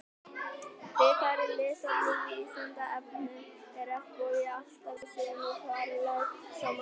Frekara lesefni á Vísindavefnum Er regnbogi alltaf í sömu fjarlægð frá manni?